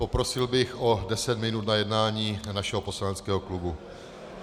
Poprosil bych o deset minut na jednání našeho poslaneckého klubu.